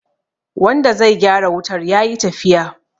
wanda zai gyara wutar ya yi tafiya